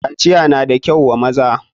kaciya na da kyau wa maza.